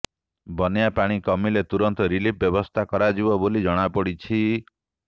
ବନ୍ୟା ପାଣି କମିଲେ ତୁରନ୍ତ ରିଲିଫ ବ୍ୟବସ୍ଥା କରାଯିବ ବୋଲି ଜଣାପଡ଼ିଛି